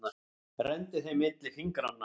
Renndi þeim milli fingranna.